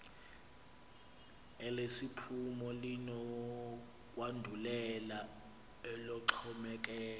elesiphumo linokwandulela eloxhomekeko